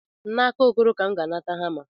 N'aka Okoro ka M ga-anata hama.